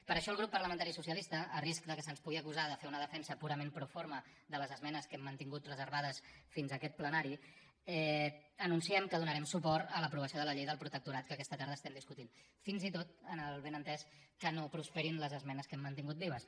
per això el grup parlamentari socialista a risc que se’ns pugui acusar de fer una defensa purament proforma de les esmenes que hem mantingut reservades fins a aquest plenari anunciem que donarem suport a l’aprovació de la llei del protectorat que aquesta tarda estem discutint fins i tot amb el benentès que no prosperin les esmenes que hem mantingut vives